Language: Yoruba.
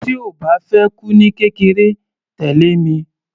Tí o bá fẹ́ kú ní kékeré, tẹ̀lẹ́ mi.